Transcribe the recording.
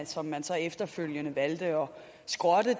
som man så efterfølgende valgte at skrotte